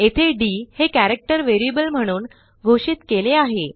येथे डी हे character variable म्हणून घोषित केले आहे